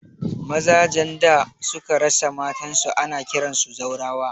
Maza jan da suka rasa matan su ana kiransu zaurawa